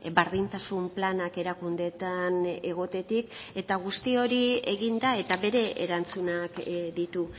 berdintasun planak erakundeetan egotetik eta guzti hori egin da eta bere erantzunak ditu